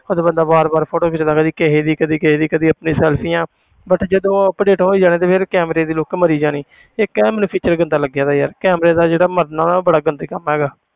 ਉਦੋਂ ਬੰਦਾ ਵਾਰ ਵਾਰ photo ਖਿੱਚਦਾ ਕਦੇ ਕਿਸੇ ਦੀ ਕਦੇ ਕਿਸੇ ਦੀ ਕਦੇ ਆਪਣੀ ਸੈਲਫੀਆਂ but ਜਦੋਂ ਉਹ update ਹੋਈ ਜਾਣਾ ਤੇ ਫਿਰ camera ਦੀ look ਮਰੀ ਜਾਣੀ ਇੱਕ ਇਹ ਮੈਨੂੰ feature ਗੰਦਾ ਲੱਗਦਾ ਯਾਰ camera ਦਾ ਜਿਹੜਾ ਮਰਨਾ ਉਹ ਬੜਾ ਗੰਦਾ ਕੰਮ ਹੈਗਾ।